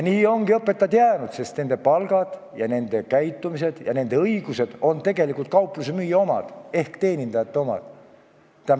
Nii ongi õpetajad jäänud teenindajateks, sest nende palk, nende käitumine ja nende õigused on tegelikult kauplusemüüja ehk teenindaja omad.